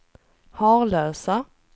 Harlösa